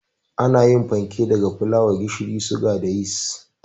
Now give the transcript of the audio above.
Ana yin fanke daga fulawa, gishiri, suga da yis